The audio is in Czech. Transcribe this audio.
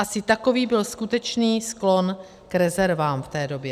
Asi takový byl skutečný sklon k rezervám v té době.